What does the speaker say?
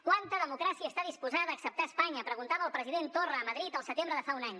quanta democràcia està disposada a acceptar espanya preguntava al president torra a madrid el setembre de fa un any